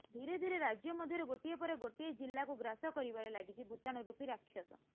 ଧିରେ ଧିରେ ରାଜ୍ୟ ମଧ୍ୟରେ ଗୋଟିଏ ପରେ ଗୋଟିଏ ଜିଲ୍ଲାକୁ ଗ୍ରାସ କରିବାରେ ଲାଗିଛି ଭୁତାଣୁ ରୁପି ରାକ୍ଷସ